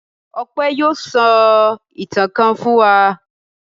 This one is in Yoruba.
Ọpẹ́ yóò sọ ìtàn kan fún wa.